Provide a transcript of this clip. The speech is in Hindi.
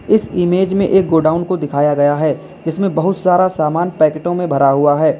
इस इमेज में एक गोडाउन को दिखाया गया है जिसमें बहुत सारा सामान पैकेटो में भरा हुआ है।